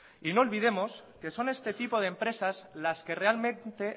y no olvidemos que son este tipo de empresas las que realmente